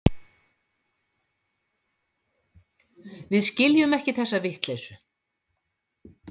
Við skiljum ekki þessa vitleysu.